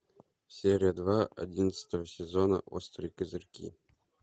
серия два одиннадцатого сезона острые козырьки